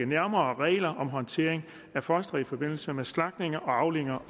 nærmere regler om håndteringen af fostre i forbindelse med de slagtninger og aflivninger